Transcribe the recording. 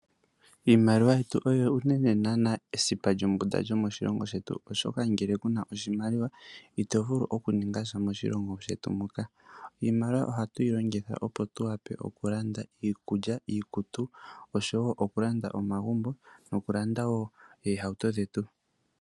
Iimaliwa yetu oyo uunene ngaa esipa lyombunda lyomoshilongo shetu oshoka ngele kuna oshimaliwa ito vulu okuninga sha moshilongo shetu. Iimaliwa ohatu yi longitha opo tuwape okulanda iikulya, iikutu osho woo okulanda omagumbo noohauto dhetu.